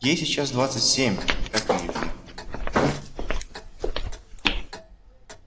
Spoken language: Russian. ей сейчас двадцать семь как и илье